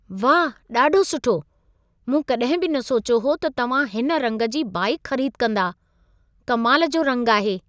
वाह, ॾाढो सुठो! मूं कॾहिं बि न सोचियो हो त तव्हां हिन रंग जी बाइकु ख़रीद कंदा। कमाल जो रंग आहे।